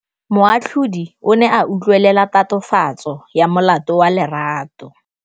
Moatlhodi o ne a utlwelela tatofatsô ya molato wa Lerato.